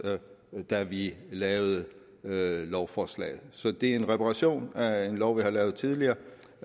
da vi lavede lovforslaget så det er en reparation af en lov vi har lavet tidligere